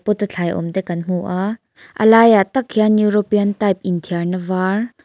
pot a thlai awm te kan hmu a a laiah tak hian european type inthiarna var.